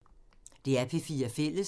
DR P4 Fælles